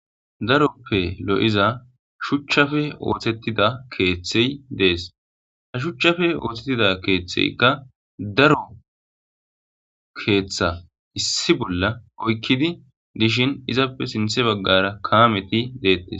Daroppe lo7iza shuchchafe oothettida keeththey dees ha shuchchafe oothettida keeththeykka daro keeththa issi bolla oykkidi dishin izappe sinthe baggara kaameti deettes.